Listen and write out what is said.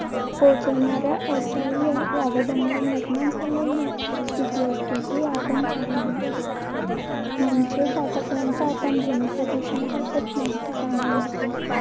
पोहचवणाऱ्या असहाय्य आवाजामुळे निर्माण झालेली स्थिती असते. हे आपण पाहिले. म्हणजेच आतापर्यंत आपण ध्वनी प्रदूषणाबाबत माहिती जाणून घेतली.